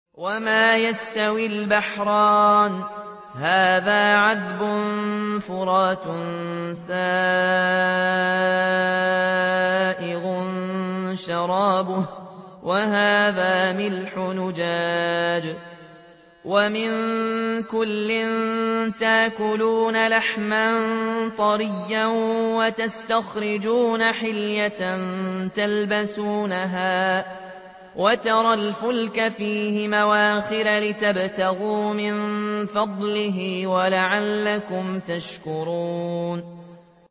وَمَا يَسْتَوِي الْبَحْرَانِ هَٰذَا عَذْبٌ فُرَاتٌ سَائِغٌ شَرَابُهُ وَهَٰذَا مِلْحٌ أُجَاجٌ ۖ وَمِن كُلٍّ تَأْكُلُونَ لَحْمًا طَرِيًّا وَتَسْتَخْرِجُونَ حِلْيَةً تَلْبَسُونَهَا ۖ وَتَرَى الْفُلْكَ فِيهِ مَوَاخِرَ لِتَبْتَغُوا مِن فَضْلِهِ وَلَعَلَّكُمْ تَشْكُرُونَ